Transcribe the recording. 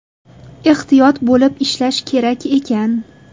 Ehtiyot bo‘lib ishlash kerak ekan.